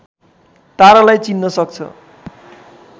तारालाई चिन्न सक्छ